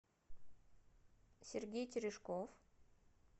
сергей терешков